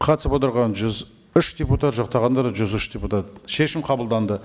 қатысып отырған жүз үш депутат жақтағандар да жүз үш депутат шешім қабылданды